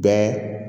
Bɛɛ